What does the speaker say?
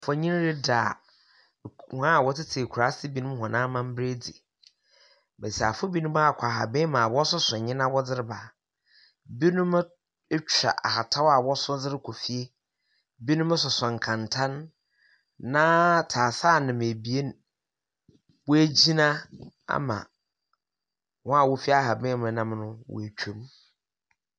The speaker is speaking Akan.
Mfonyin yi reda hɔn a wɔtsetse ekuraase binom hɔn amambra edzi, mbasiafo binom akɔ haban mu a wɔsoso ndzɛmba dze reba. Binom etwa ahataw a wɔso dze rokɔ fie, binom soso kɛntɛn. na tseaseanam ebien woegyina ama hɔn a wofi haban mu nam no woeetwa mu.